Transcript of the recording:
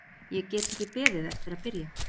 Ég get ekki beðið eftir að byrja.